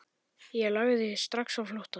Ég lagði strax á flótta.